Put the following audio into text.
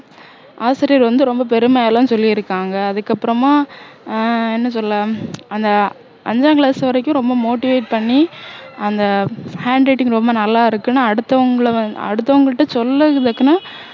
ஆசிரியர் வந்து ரொம்ப பெருமையா எல்லாம் சொல்லியிருக்காங்க அதுக்கப்பறமா ஆஹ் என்ன சொல்ல அந்த அஞ்சாம் class வரைக்கும் ரொம்ப motivate பண்ணி அந்த handwriting ரொம்ப நல்லா இருக்குன்னு அடுத்தவங்கள அடுத்தவங்ககிட்ட சொல்றது எதுக்குன்னா